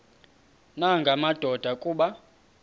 nanga madoda kuba